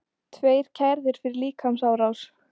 Tveir kærðir fyrir líkamsárás